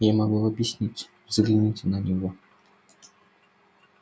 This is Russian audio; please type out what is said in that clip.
я могу объяснить взгляните на него